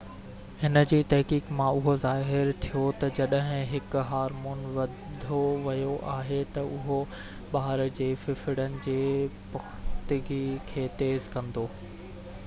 هن جي تحقيق مان اهو ظاهر ٿيو ته جيڪڏهن هڪ هارمون وڌو ويو آهي ته اهو ٻار جي ڦڦڙڻ جي پختگي کي تيز ڪندو